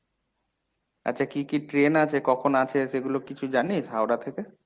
আচ্ছা কী কী train আছে কখন আছে সেগুলো কিছু জানিস হাওড়া থেকে?